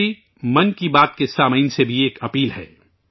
میری ' من کی بات ' کے سامعین سے بھی درخواست ہے